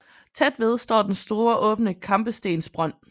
Tæt ved står den store åbne kampestensbrønd